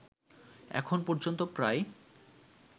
এখন পর্যন্ত প্রায়